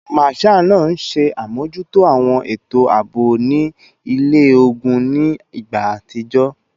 Marshal naa nṣe amojuto awọn eto aabo ni ile-ogun ni igba atijọ